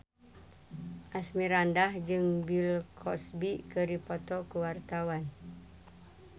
Asmirandah jeung Bill Cosby keur dipoto ku wartawan